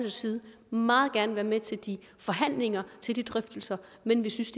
side meget gerne være med til de forhandlinger til de drøftelser men vi synes